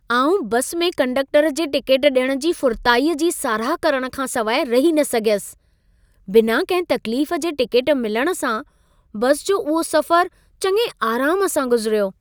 आउं बसि में कंडक्टर जे टिकेट ॾियण जी फुरताईअ जी साराह करण खां सवाइ रही न सघियसि। बिना कंहिं तकलीफ जे टिकेट मिलण सां बसि जो उहो सफ़रु चङे आराम सां गुज़िरियो।